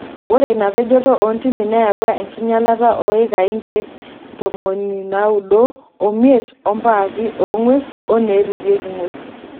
Ore ina pejoto oontimi neyawua enkinyalata oo ikai nkeek ntomoi naaudo omit ompaaki ongwesi oneeripieki nguesi.